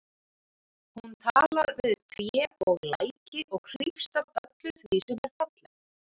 Hún talar við tré og læki og hrífst af öllu því sem er fallegt.